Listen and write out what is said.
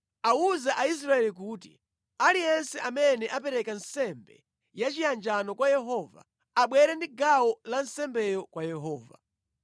“Awuze Aisraeli kuti, Aliyense amene apereka nsembe yachiyanjano kwa Yehova, abwere ndi gawo la nsembeyo kwa Yehova.